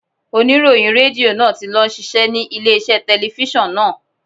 Oníròyìn Rédíò náà ti lọ ń ṣiṣẹ́ ní ilé iṣẹ́ telifíṣàn náà.